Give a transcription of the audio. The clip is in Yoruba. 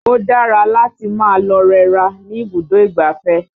Ò dára láti máa lọ rẹra ní ibùdó ìgbáfẹ́